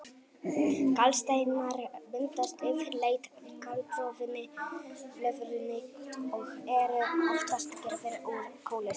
Gallsteinar myndast yfirleitt í gallblöðrunni og eru oftast gerðir úr kólesteróli.